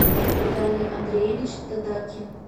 виталий андреевич тадакин